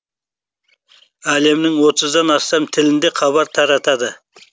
әлемнің отыздан астам тілінде хабар таратады